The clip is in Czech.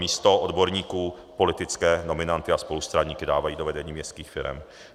Místo odborníků politické nominanty a spolustraníky dávají do vedení městských firem.